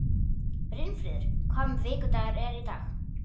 Brynfríður, hvaða vikudagur er í dag?